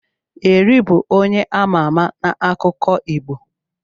Eri bụ onye ama ama n'akụkọ Igbo.